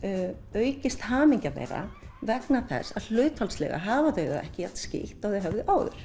aukist hamingja þeirra vegna þess að hlutfallslega hafa þau það ekki jafn skítt og þau höfðu áður